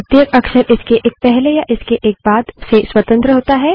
प्रत्येक अक्षर इसके एक पहले या इसके एक बाद से स्वतंत्र होता है